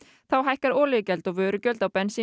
þá hækkar olíugjald og vörugjöld á bensín